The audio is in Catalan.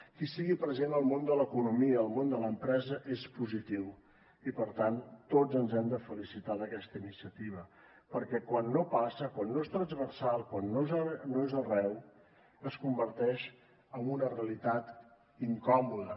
que hi sigui present el món de l’economia el món de l’empresa és positiu i per tant tots ens hem de felicitar d’aquesta iniciativa perquè quan no passa quan no és transversal quan no és arreu es converteix en una realitat incòmoda